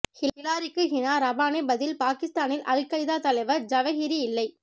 ஹிலாரிக்கு ஹினா ரபானி பதில் பாகிஸ்தானில் al Qaeda தலைவர் ஜவஹிரி இல்லை